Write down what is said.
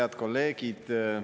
Head kolleegid!